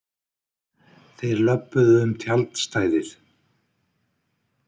Þeir löbbuðu um tjaldstæðið.